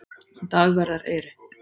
Dagverðareyri